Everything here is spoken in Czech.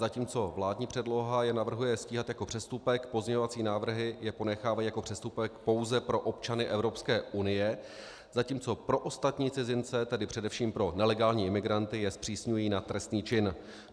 Zatímco vládní předloha je navrhuje stíhat jako přestupek, pozměňovací návrhy je ponechávají jako přestupek pouze pro občany Evropské unie, zatímco pro ostatní cizince, tedy především pro nelegální imigranty, je zpřísňují na trestný čin.